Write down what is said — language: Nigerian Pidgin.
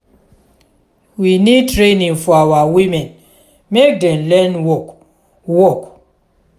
we need training for our women make dem learn work. work.